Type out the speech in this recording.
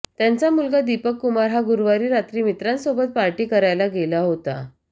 त्यांचा मुलगा दीपक कुमार हा गुरुवारी रात्री मित्रांसोबत पार्टी करायला गेला होता